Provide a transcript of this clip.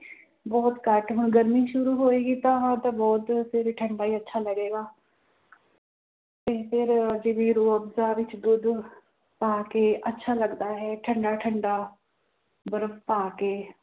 ਬਹੁਤ ਘੱਟ ਹੁਣ ਗਰਮੀ ਸ਼ੁਰੂ ਹੋਏਗੀ ਤਾਂ ਬਹੁਤ ਫਿਰ ਠੰਢਾ ਹੀ ਅੱਛਾ ਲੱਗੇਗਾ ਤੇ ਫਿਰ ਦੁੱਧ ਪਾ ਕੇ ਅੱਛਾ ਲੱਗਦਾ ਹੈ ਠੰਢਾ ਠੰਢਾ ਬਰਫ਼ ਪਾ ਕੇ